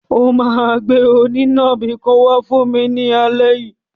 O máa gbé onínàbì kan wá fún mi ní alẹ́ yìí.